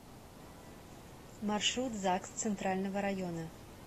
маршрут загс центрального района